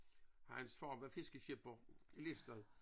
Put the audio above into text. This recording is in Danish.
Hans far var fiskeskipper Listed